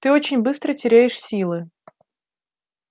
ты очень быстро теряешь силы